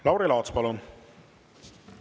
Lauri Laats, palun!